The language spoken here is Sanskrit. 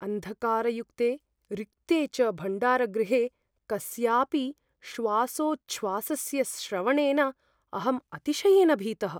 अन्धकारयुक्ते, रिक्ते च भण्डारगृहे कस्यापि श्वासोच्छ्वासस्य श्रवणेन अहं अतिशयेन भीतः।